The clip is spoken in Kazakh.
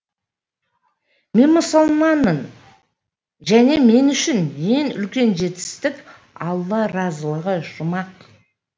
мен мұсылманмын және мен үшін ең үлкен жетістік алла разылығы жұмақ